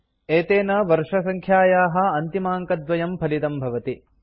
एतेन वर्षसङ्ख्यायाः अन्तिमाङ्कद्वयं फलितं भवति